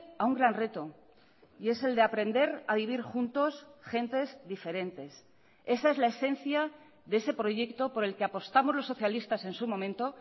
a un gran reto y es el de aprender a vivir juntos gentes diferentes esa es la esencia de ese proyecto por el que apostamos los socialistas en su momento